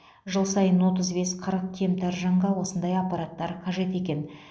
жыл сайын отыз бес қырық кемтар жанға осындай аппараттар қажет екен